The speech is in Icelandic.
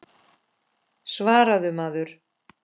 Svaraðu maður.